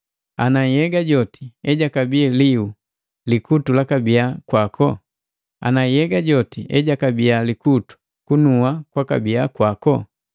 Ana nhyega joti ejakabii liu, likutu lakabiya kwako? Ana nhyega joti ejakabii likutu, kunua kwakabiya kwako?